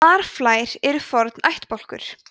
marflær eru forn ættbálkur